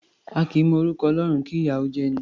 A kì í mọ orúkọ Ọlọ́run, kí ìyà ó jẹ'ni.